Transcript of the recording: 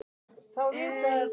Hvíl í friði, afi minn.